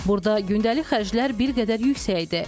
Burda gündəlik xərclər bir qədər yüksəkdir.